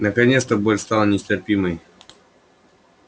наконец боль стала нестерпимой